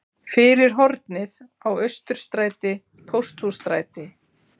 Fyrir hornið á Austurstræti-Pósthússtræti.